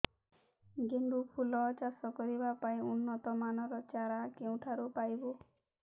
ଗେଣ୍ଡୁ ଫୁଲ ଚାଷ କରିବା ପାଇଁ ଉନ୍ନତ ମାନର ଚାରା କେଉଁଠାରୁ ପାଇବୁ